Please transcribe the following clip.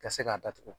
Ka se k'a datugu